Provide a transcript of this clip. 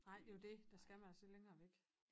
Nej det jo dét der skal man altså længere væk